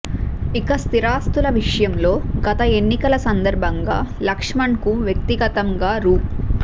ఇక స్థిరాస్తుల విషయంలో గత ఎన్నికల సందర్భంగా లక్ష్మణ్కు వ్యక్తిగతంగా రూ